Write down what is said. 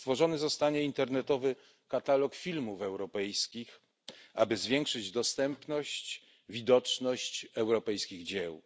Stworzony zostanie internetowy katalog filmów europejskich, aby zwiększyć dostępność i widoczność europejskich dzieł.